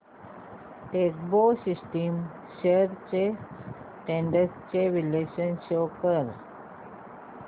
Techpro systems shares trends चे विश्लेषण show कर